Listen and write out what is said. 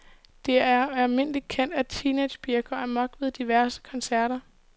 Det er almindeligt kendt, at mange teenagepiger går amok ved diverse koncerter.